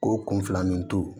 O kun filanin to